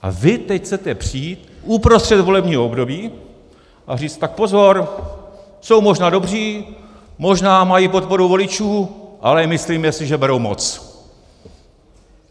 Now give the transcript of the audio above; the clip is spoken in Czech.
A vy teď chcete přijít uprostřed volebního období a říct: tak pozor, jsou možná dobří, možná mají podporu voličů, ale myslíme si, že berou moc.